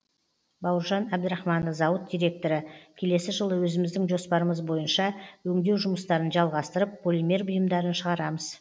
бауыржан әбдірахманов зауыт директоры келесі жылы өзіміздің жоспарымыз бойынша өңдеу жұмыстарын жалғастырып полимер бұйымдарын шығарамыз